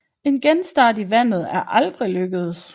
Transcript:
En genstart i vandet er aldrig lykkedes